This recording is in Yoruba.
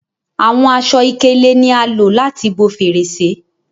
Àwọn aṣọ-ikele ní a lò láti bó Fèrèsé